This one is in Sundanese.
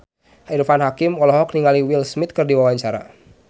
Irfan Hakim olohok ningali Will Smith keur diwawancara